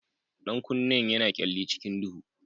Ɗan kunnen yana kyalli cikin duhu.